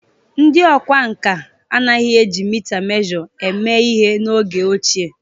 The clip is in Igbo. Ndị ọkwá nkà anaghị eji mita Mosture eme ihe n'oge ochie